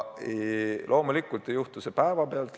Loomulikult ei juhtu see kõik päevapealt.